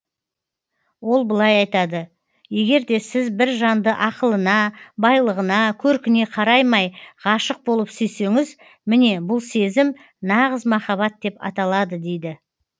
ол былай айтады егерде сіз бір жанды ақылына байлығына көркіне қараймай ғашық болып сүйсеңіз міне бұл сезім нағыз махаббат деп аталады дейді